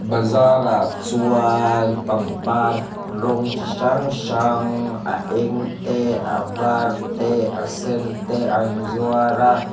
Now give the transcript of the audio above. bazar ah chuan pangpar rawng chi hrang hrang a eng te a var te a sen te an zuar a.